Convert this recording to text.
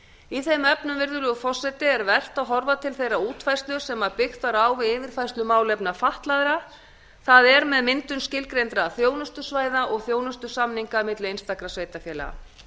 í þeim efnum virðulegur forseti er vert að horfa til þeirrar útfærslu sem byggt var á við yfirfærslu á málefnum fatlaðra það er með myndun skilgreindra þjónustusvæða og þjónustusamninga milli einstakra sveitarfélaga